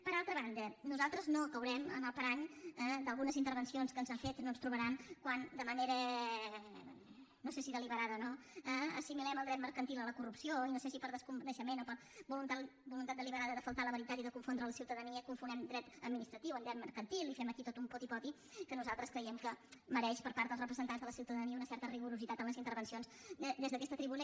per altra banda nosaltres no caurem en el parany d’algunes intervencions que s’han fet no ens trobaran quan de manera no sé si deliberada o no assimilem el dret mercantil a la corrupció i no sé si per desconeixement o per voluntat deliberada de faltar a la veritat i de confondre la ciutadania confonem dret administratiu amb dret mercantil i fem aquí tot un poti poti que nosaltres creiem que mereix per part dels representants de la ciutadania un cert rigor en les intervencions des d’aquesta tribuna